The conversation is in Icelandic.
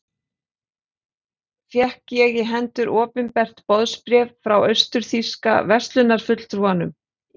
Fékk ég í hendur opinbert boðsbréf frá austur-þýska verslunarfulltrúanum í